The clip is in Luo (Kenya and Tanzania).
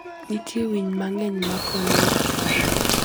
Nitie winy mang'eny makonyo e rito ngima.